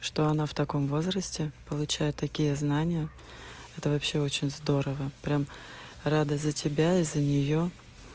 что она в таком возрасте получает такие знания это вообще очень здорово прямо рада за тебя и за неё